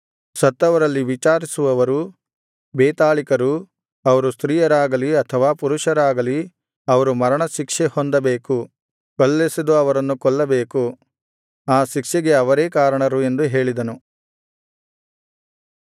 ಸತ್ತವರಲ್ಲಿ ವಿಚಾರಿಸುವವರೂ ಬೇತಾಳಿಕರೂ ಅವರು ಸ್ತ್ರೀಯರಾಗಲಿ ಅಥವಾ ಪುರುಷರಾಗಲಿ ಅವರು ಮರಣಶಿಕ್ಷೆ ಹೊಂದಬೇಕು ಕಲ್ಲೆಸೆದು ಅವರನ್ನು ಕೊಲ್ಲಬೇಕು ಆ ಶಿಕ್ಷೆಗೆ ಅವರೇ ಕಾರಣರು ಎಂದು ಹೇಳಿದನು